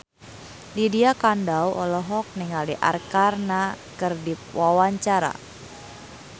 Lydia Kandou olohok ningali Arkarna keur diwawancara